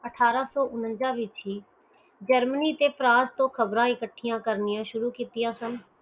ਅਠਾਰਾਂ ਸੋ ਉਨਿਨਜਾ ਵਿਚ ਹੀ germany ਤੇ france ਤੋਂ ਖ਼ਬਰ ਕਠੀਆਂ ਕਰਨੀਆਂ ਸ਼ੁਰੂ ਕੀਤੀਆਂ ਸਨ